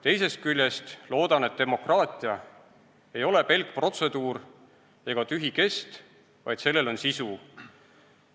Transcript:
Teisest küljest loodan, et demokraatia ei ole pelk protseduur ega tühi kest, vaid sellel on sisu.